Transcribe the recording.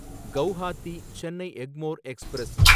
Guwahati Chennai Egmore express